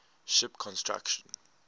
ship construction